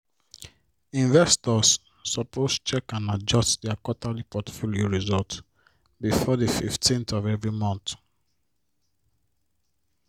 investors suppose check and adjust their quarterly portfolio result before the 15th of every month